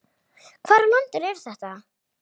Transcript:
Hvar á landinu er þetta?